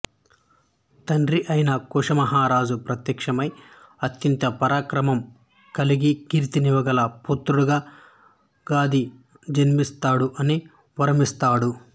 తండ్రి అయిన కుశ మహారాజు ప్రత్యక్షమై అత్యంత పరాక్రమం కలిగి కీర్తిని ఇవ్వగల పుత్రుడుగా గాధి జన్మిస్తాడు అని వరమిస్తాడు